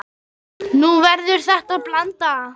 Nú verður þetta blanda.